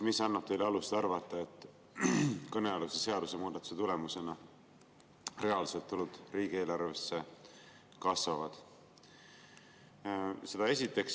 Mis annab teile alust arvata, et kõnealuse seadusemuudatuse tulemusena reaalsed tulud riigieelarves kasvavad?